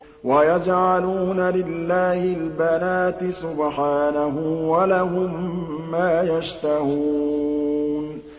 وَيَجْعَلُونَ لِلَّهِ الْبَنَاتِ سُبْحَانَهُ ۙ وَلَهُم مَّا يَشْتَهُونَ